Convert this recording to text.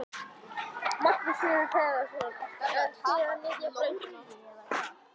Magnús Hlynur Hreiðarsson: Þannig að þið eruð að ryðja brautina?